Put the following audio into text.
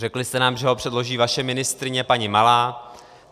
Řekli jste nám, že ho předloží vaše ministryně paní Malá.